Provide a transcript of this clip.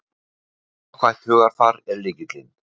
Jákvætt hugarfar er lykillinn